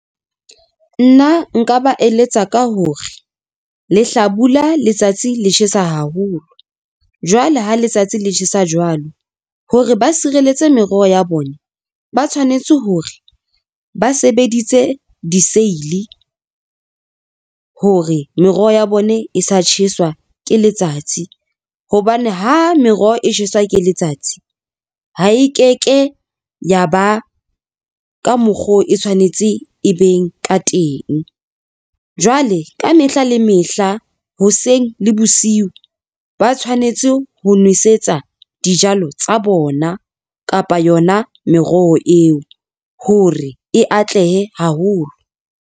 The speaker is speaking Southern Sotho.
Nna nka ba eletsa ka hore le hlabula letsatsi le tjhesa haholo jwale ha letsatsi le tjhesa jwalo hore ba sirelletse meroho ya bona, ba tshwanetse hore ba sebeditse diseili hore meroho ya bone e sa tjheswa ke letsatsi hobane ho meroho e tjheswa ke letsatsi ha e keke ya ba ka mokgo e tshwanetse e beng ka teng, jwale ka mehla le mehla hoseng le bosiu ba tshwanetse ho nwesetsa dijalo tsa bona kapa yona meroho eo hore e atlehe haholo.